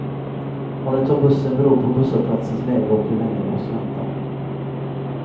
Om de tar bussen beror på busshållplatsens läge och hur länge de måste vänta.